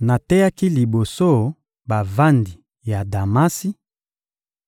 Nateyaki liboso bavandi ya Damasi;